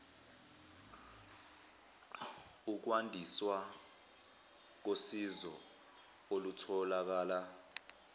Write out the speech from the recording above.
ukwandiswa kosizo olutholakala